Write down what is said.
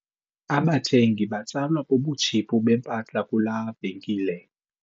Abathengi batsalwa bubutshiphu bempahla kulaa venkile.